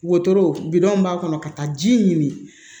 Wotoro bidɔn b'a kɔnɔ ka taa ji ɲini